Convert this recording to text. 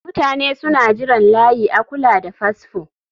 Mutane suna jiran layi a kula da fasfo